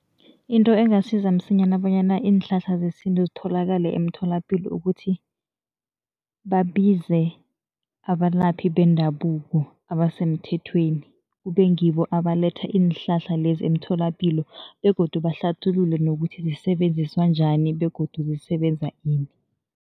Into engasiza msinyana bonyana iinhlahla zesintu zitholakale emtholapilo ukuthi, babize abalaphi bendabuko abasemthethweni, kube ngibo abaletha iinhlahla lezi emtholapilo begodu bahlathulule nokuthi zisebenziswa njani begodu zisebenza ini.